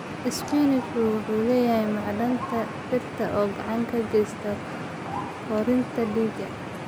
Isbaanishku wuxuu leeyahay macdanta birta oo gacan ka geysata kordhinta dhiigga.